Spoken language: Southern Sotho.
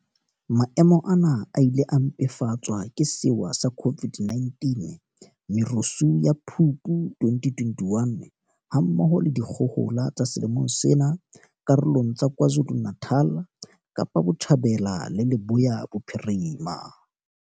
Maemo ana a ile a mpefatswa ke sewa sa COVID-19, merusu ya Phupu 2021, ha mmoho le dikgohola tsa selemong sena karolong tsa KwaZulu-Natal, Kapa Botjhabela le Leboya Bophirima.